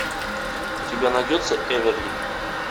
у тебя найдется эверли